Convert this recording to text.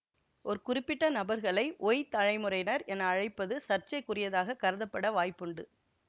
ஒரு குறிப்பிட்ட நபர்களை ஒய் தலைமுறையினர் என அழைப்பது சர்ச்சைக்குரியதாக கருதப்பட வாய்ப்புண்டு